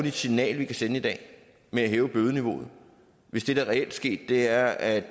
et signal vi kan sende i dag med at hæve bødeniveauet hvis det der reelt er sket er at